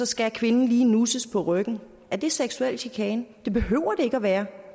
skal kvinden lige nusses på ryggen er det seksuel chikane det behøver det ikke at være